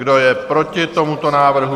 Kdo je proti tomuto návrhu?